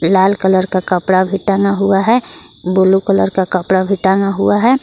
लाल colour का कपड़ा भी टंगा हुआ है ब्लू कलर का कपड़ा भी टंगा हुआ है।